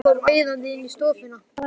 Tóti kom æðandi inn í stofuna.